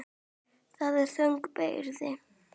Það er þung byrði.